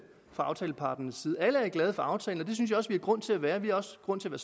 fra aftaleparternes side alle er glade for aftalen og det synes jeg også vi har grund til at være vi har også grund til at